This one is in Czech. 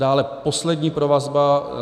Dále poslední provazba.